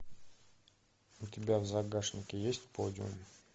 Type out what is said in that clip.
у тебя в загашнике есть подиум